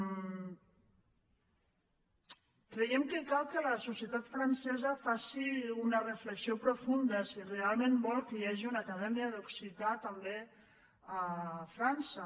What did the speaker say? creiem que cal que la societat francesa faci una reflexió profunda si realment vol que hi hagi una acadèmia d’occità també a frança